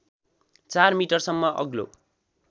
चार मिटरसम्म अग्लो